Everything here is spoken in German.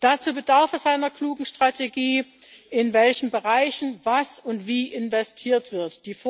Dazu bedarf es einer klugen Strategie, in welchen Bereichen was und wie investiert wird.